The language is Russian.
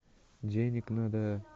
денег надо